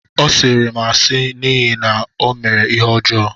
Ọ sịịrị m asị n’ihi na ọ mere ihe ọjọọ